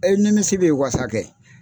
E nimisi bɛ wasa kɛ.